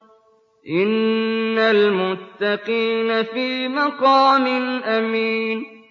إِنَّ الْمُتَّقِينَ فِي مَقَامٍ أَمِينٍ